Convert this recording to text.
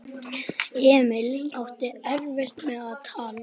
Emil átti erfitt með að tala.